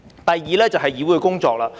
第二，就是議會的工作。